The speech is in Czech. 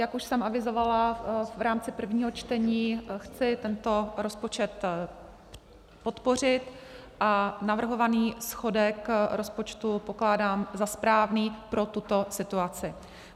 Jak už jsem avizovala v rámci prvního čtení, chci tento rozpočet podpořit a navrhovaný schodek rozpočtu pokládám za správný pro tuto situaci.